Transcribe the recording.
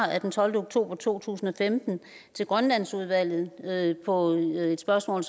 af den tolvte oktober to tusind og femten til grønlandsudvalget på et et spørgsmål